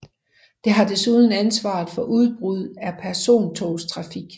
Det har desuden ansvaret for udbud af persontogstrafik